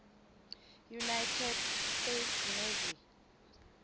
united states navy